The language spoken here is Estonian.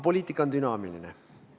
Poliitika on dünaamiline.